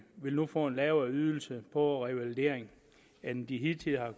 vil få en lavere ydelse på revalidering end de hidtil har